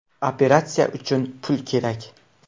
Operatsiya uchun pul kerak.